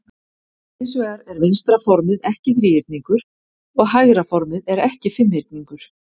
Hins vegar er vinstra formið ekki þríhyrningur og hægra formið er ekki fimmhyrningur.